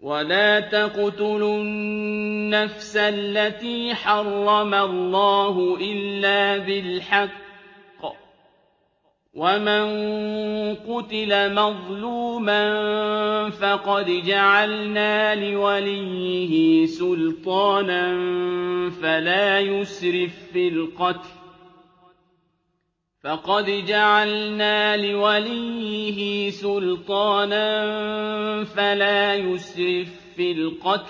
وَلَا تَقْتُلُوا النَّفْسَ الَّتِي حَرَّمَ اللَّهُ إِلَّا بِالْحَقِّ ۗ وَمَن قُتِلَ مَظْلُومًا فَقَدْ جَعَلْنَا لِوَلِيِّهِ سُلْطَانًا فَلَا يُسْرِف فِّي الْقَتْلِ